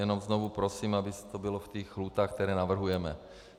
Jenom znovu prosím, aby to bylo v těch lhůtách, které navrhujeme.